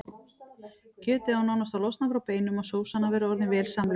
Kjötið á nánast að losna frá beinum og sósan að vera orðin vel samlöguð.